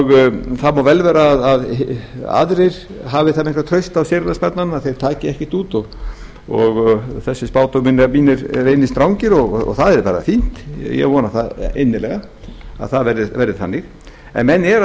það má vel vera að einhverjir aðrir hafi eitthvert traust á séreignarsparnaðinum að þeir taki ekkert út og þessir spádómar mínir reynist rangir og það er bara fínt ég vona það innilega að það verði þannig en menn eru að